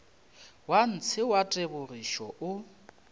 wa ntshe wa tebogišo o